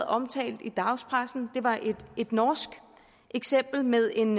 omtalt i dagspressen der var et et norsk eksempel med en